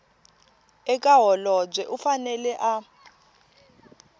eka holobye u fanele a